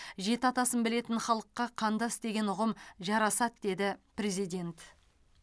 жеті атасын білетін халыққа қандас деген ұғым жарасады деді президент